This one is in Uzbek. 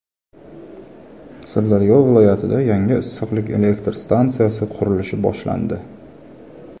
Sirdaryo viloyatida yangi issiqlik elektr stansiyasi qurilishi boshlandi.